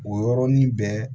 O yɔrɔnin bɛɛ